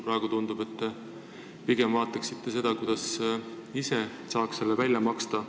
Praegu aga tundub, et te pigem vaatate seda, kuidas ise saaks need välja maksta.